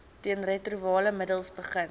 teenretrovirale middels begin